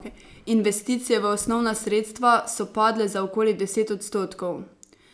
Investicije v osnovna sredstva so padle za okoli deset odstotkov.